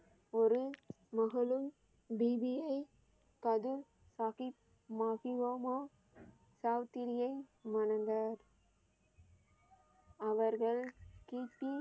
ஒரு மகளும் பிபியை தது சாகிப் மாகியோகம்மா சாவித்திரியை மணந்தார் அவர்கள் கி பி